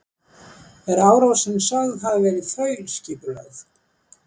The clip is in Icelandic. Er árásin sögð hafa verið þaulskipulögð